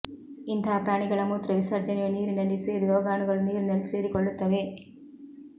ಇಂತಹ ಪ್ರಾಣಿಗಳ ಮೂತ್ರ ವಿಸರ್ಜನೆಯು ನೀರಿನಲ್ಲಿ ಸೇರಿ ರೋಗಾಣುಗಳು ನೀರಿನಲ್ಲಿ ಸೇರಿಕೊಳ್ಳುತ್ತವೆ